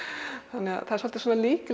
þannig það er svolítið svona lík